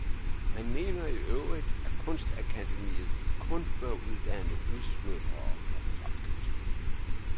Han mener i øvrigt, at kunstakademiet kun bør uddanne udsmykkere for folket.